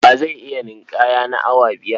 Wa zai iya ninƙaya na awa biyar?